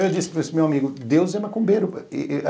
Eu disse para esse meu amigo, Deus é macumbeiro.